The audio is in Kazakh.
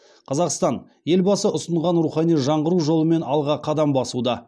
қазақстан елбасы ұсынған рухани жаңғыру жолымен алға қадам басуда